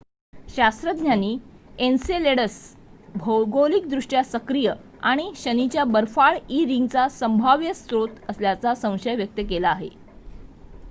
शास्त्रज्ञांनी एन्सेलेडस भौगोलिकदृष्ट्या सक्रिय आणि शनीच्या बर्फाळ ई रिंगचा संभाव्य स्रोत असल्याचा संशय व्यक्त केला आहे